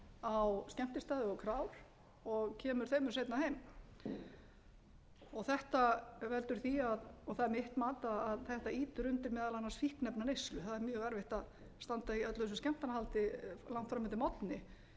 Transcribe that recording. á skemmtistaði og krár og kemur þeim mun seinna heim þetta veldur því og það er mitt mat að þetta ýti undir meðal annars fíkniefnaneyslu það er mjög erfitt að standa í öllu þessu skemmtanahaldi langt fram eftir morgni